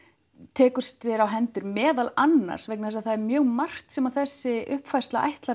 tekur sér á hendur meðal annars vegna þess að það er mjög margt sem þessi uppfærsla ætlar